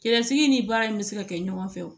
Cɛsiri ni baara in bɛ se ka kɛ ɲɔgɔnfɛ o